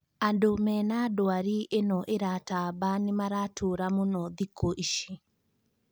Andũ mena ndwari ĩno ĩratamba nĩmaratũra mũno thiku ici